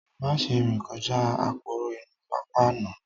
Má ṣe rìn kọjá aporo inú pápá náà